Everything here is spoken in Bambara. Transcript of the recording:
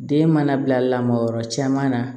Den mana bila lamɔyɔrɔ caman na